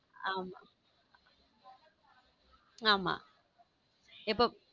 ஆமா ஆமா எப்போ.